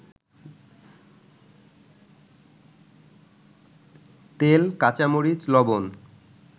তেল, কাঁচা মরিচ, লবণ